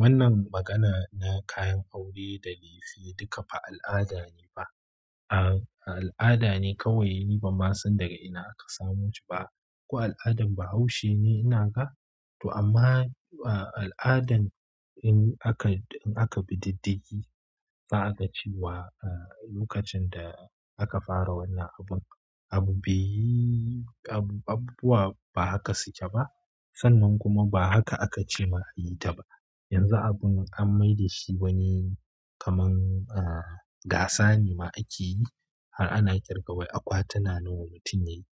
Wannan magana na kayan aure da lefe duka ba al'ada ne ba. Al'ada ne kawai ni ba ma san daga ina aka samo shi ba. Ko al'adan Bahaushe ne ina ga? To amma al'adan in aka, in aka bi diddigi, za a ga cewa lokacin da aka fara wannan abun. Abu beyi, abubuwa ba haka suke ba. Sannan kuma ba haka aka ce ma a yi ta ba. Yanzu abun an mai da shi wani kamar gasa ne ma ake yi har ana ƙirga wai akwatuna nawa mutum ya yi.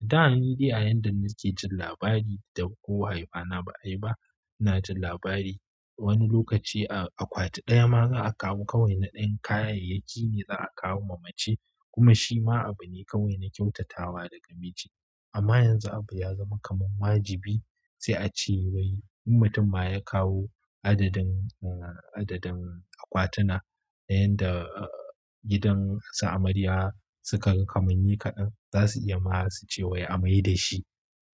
Da nidai a yanda nake jin labari da ko haifana ba ai ba, ina jin labari wani lokaci akwati ɗaya ma za a kawo kawai na ɗan kayayyaki ne za a kawo ma mace kuma shi ma abu ne kawai na kyautatawa daga miji. Amma yanzu abu ya zama kamar wajibi sai a ce wai in mutum ma ya kawo adadin, adadin akwatuna na yanda gidan sa amarya suka kamanni kaɗan, za su iya ma su ce wai a mai da shi.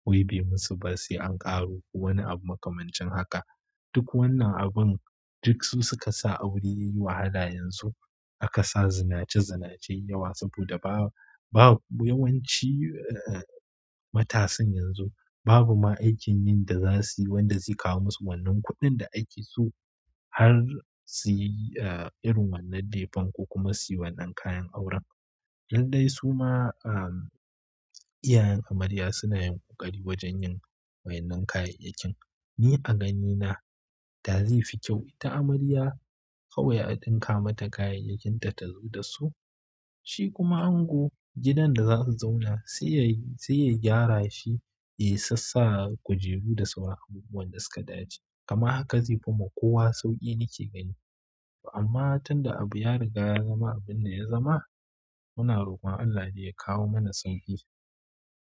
Wai bai musu ba sai an ƙaro wani abu makamancin haka. Duk wannan abun duk su suka sa aure yayi wahala yanzu. Aka sa zinace zinace yawa saboda ba, ba yawanci matasan yanzu babu ma aikin yin da za su yi wanda zai kawo musu wannan kuɗin da ake so har su yi irin wannan lefen ko kuma su yi wannan kayan auren. Yadda yayi suma iyayen amarya suna yin ƙoƙari wajen yin wa wannan kayayyakin. Ni a ganina da zaifi kyau ita amarya kawai a ɗinka mata kayayyakinta tazo dasu shikuma ango gidan da zasu zauna saiya gyara shi ya sassa kujeru da sauran abubuwan da suka dace kama haka zai fi ma kowa sauƙi nake gani. Amma tun da abu ya riga ya zama abin da ya zama, muna roƙon Allah da ya kawo mana sauƙi.